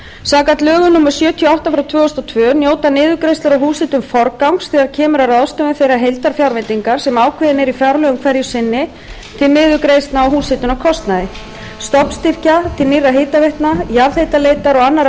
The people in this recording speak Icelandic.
samkvæmt lögum númer sjötíu og átta tvö þúsund og tvö njóta niðurgreiðslur á húshitun forgangs þegar kemur að ráðstöfun þeirrar heildarfjárveitingar sem ákveðin er í fjárlögum hverju sinni til niðurgreiðslna á húshitunarkostnaði stofnstyrkja til nýrra hitaveitna jarðhitaleitar og annarra